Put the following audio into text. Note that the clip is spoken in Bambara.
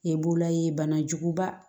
Ye b'ola ye banajuguba